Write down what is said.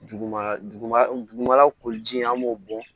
Duguma duguma dugumala ko ji in an b'o bɔ